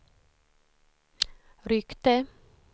ryckte